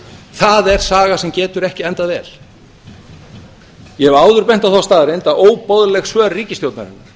það er saga sem getur ekki endað vel ég hef áður bent á þá staðreynd að óboðleg svör ríkisstjórnarinnar